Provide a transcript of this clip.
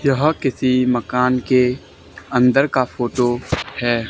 यहां किसी मकान के अंदर का फोटो है।